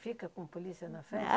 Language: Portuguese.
Fica com polícia na festa?